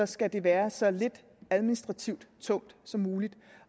skal de være så lidt administrativt tunge som muligt